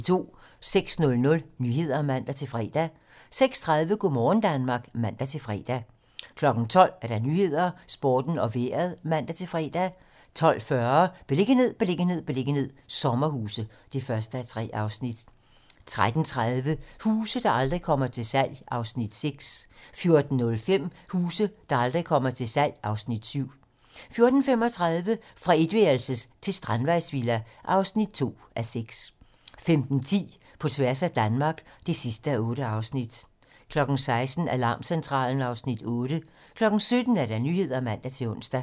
06:00: Nyhederne (man-fre) 06:30: Go' morgen Danmark (man-fre) 12:00: 12 Nyhederne, Sporten og Vejret (man-fre) 12:40: Beliggenhed, beliggenhed, beliggenhed - sommerhuse (1:3) 13:30: Huse, der aldrig kommer til salg (Afs. 6) 14:05: Huse, der aldrig kommer til salg (Afs. 7) 14:35: Fra etværelses til strandvejsvilla (2:6) 15:10: På tværs af Danmark (8:8) 16:00: Alarmcentralen (Afs. 8) 17:00: 17 Nyhederne (man-ons)